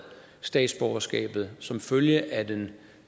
statsborgerskabet som følge af den